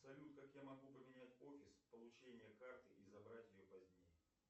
салют как я могу поменять офис получения карты и забрать ее позднее